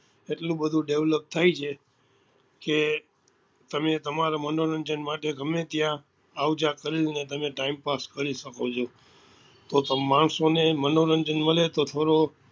એટલું બધું develop થાય છે કે તમે તમારા મનોરંજન માટે ગમે ત્યાં આવ જા કરી ને તમારો time pass કરીશકો છો તો પણ માણસો ને મનોરંજન મળે તો